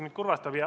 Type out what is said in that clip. See kurvastab mind.